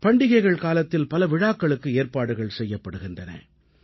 பண்டிகைகள் காலத்தில் பல விழாக்களுக்கு ஏற்பாடுகள் செய்யப்படுகின்றன